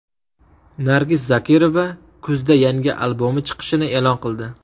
Nargiz Zokirova kuzda yangi albomi chiqishini e’lon qildi.